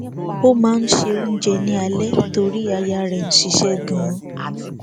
ó máa n se oúnjẹ ni alẹ torí aya rẹ ń ṣiṣẹ ganan